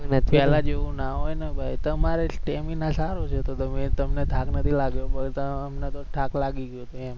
પેલા જેવું ના હોય ને ભાઈ તમારે stamina સારુ છે તો તમને થાક લાગ્યો પણ અમને તો થાક લાગી ગયો હતો એમ ચક્કર આવી ગયા હતા એમ